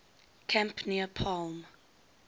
camp near palm